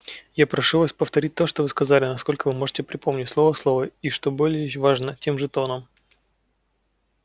я прошу вас повторить то что вы сказали насколько вы можете припомнить слово в слово и что более важно тем же тоном